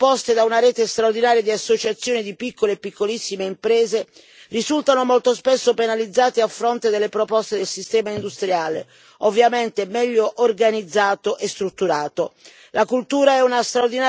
Idee innovative che, proposte da una rete straordinaria di associazione di piccole e piccolissime imprese, risultano molto spesso penalizzati a fronte delle proposte del sistema industriale ovviamente meglio organizzato e strutturato.